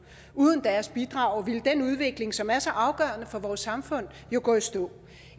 uden deres bidrag ville den udvikling som er så afgørende for vores samfund jo gå i stå